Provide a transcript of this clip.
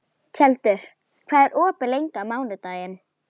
Hallbjörn, hvað er að frétta?